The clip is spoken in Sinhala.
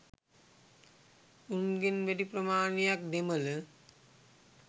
උන්ගෙන් වැඩි ප්‍රමාණයක් දෙමළ.